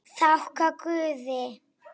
Þakka guði.